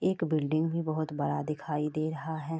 एक बिल्डिंग भी बहुत बड़ा दिखाई दे रहा है।